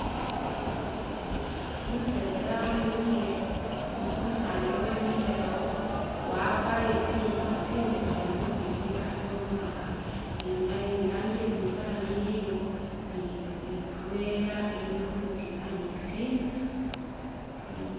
Umusetsa wemikhile, umusaani uyo wemilkhile awo wakwalire tsingubo tsibesemu ni bugato buwaanga ni rangi yabinzali iliwo ni ni trela ili khutima ni tsinzu tsiliwo